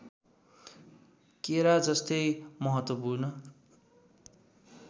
केरा जस्तै महत्त्वपूर्ण